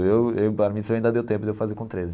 Eu eu Bar Mitzvah ainda deu tempo de eu fazer com treze.